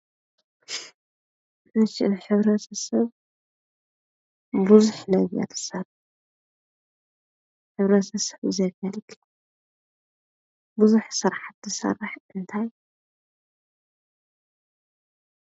እሺ ንሕብረተሰብ ብዙሕ ነገር ክሰርሕ ንሕብረተሰብ ዘገልግል ብዙሕ ስራሕቲ ዝሰርሕ እንታይ ?